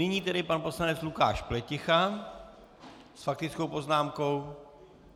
Nyní tedy pan poslanec Lukáš Pleticha s faktickou poznámkou.